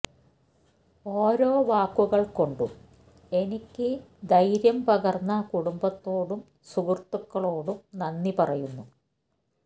ഒരോ വാക്കുകള് കൊണ്ടും എനിക്ക് ധൈര്യം പകര്ന്ന കുടുംബത്തോടും സുഹൃത്തുക്കളോടും നന്ദി പറയുന്നു